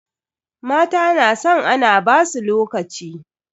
Mata na san ana basu lokaci.